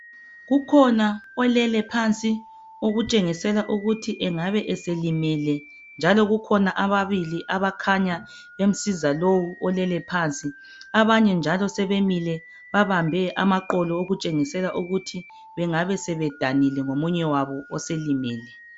Kukhona olele phansi okutshengisela ukuthi engabe eselimele njalo kukhona ababili abakhanya bemsiza lo olele phansi. Abanye njalo sebemile babambe amaqolo okutshengisela ukuthi bengabe sebedanile ngomunye wabo oselimele.